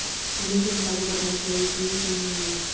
उन्हें जनता को बताना चाहिए कि यह सही नहीं है